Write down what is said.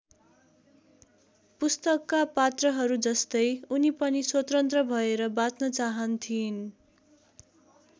पुस्तकका पात्रहरूजस्तै उनी पनि स्वतन्त्र भएर बाँच्न चाहन्थिइन्।